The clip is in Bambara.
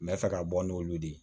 N bɛ fɛ ka bɔ n'olu ye